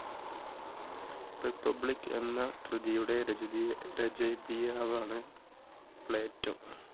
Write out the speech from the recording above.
republic എന്ന കൃതിയുടെ രചതി രചതിയാവാണ് പ്ലാറ്റോ.